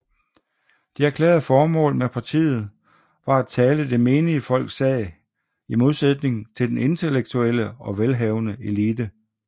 Det erklærede formål med partiet var at tale det menige folks sag i modsætning til den intellektuelle og velhavende elite